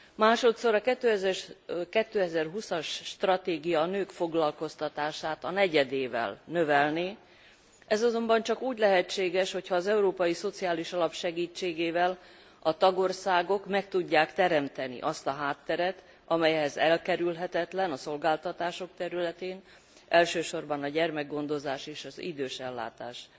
Másodszor a 2020 as stratégia a nők foglalkoztatását a negyedével növelné, ez azonban csak úgy lehetséges, hogyha az Európai Szociális Alap segítségével a tagországok meg tudják teremteni azt a hátteret, amely ehhez elkerülhetetlen a szolgáltatások területén, elsősorban a gyermekgondozás és az idősellátás